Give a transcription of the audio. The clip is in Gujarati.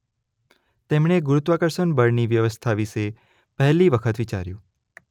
તેમણે ગુરુત્વાકર્ષણ બળની વ્યવસ્થા વિશે પહેલી વખત વિચાર્યું.